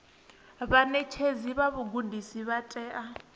vhaṋetshedzi vha vhugudisi vha tea